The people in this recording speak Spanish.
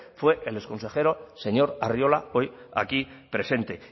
fue el exconsejero señor arriola hoy aquí presente